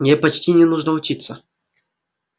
мне почти не нужно учиться